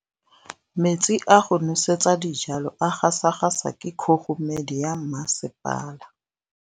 Metsi a go nosetsa dijalo a gasa gasa ke kgogomedi ya masepala.